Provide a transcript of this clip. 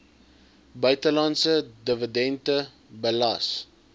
buitelandse dividende belas